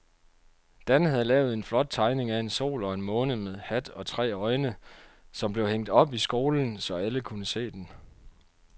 Dan havde lavet en flot tegning af en sol og en måne med hat og tre øjne, som blev hængt op i skolen, så alle kunne se den.